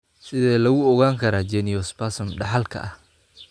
Sidee lagu ogaan karaa geniospasm dhaxalka ah?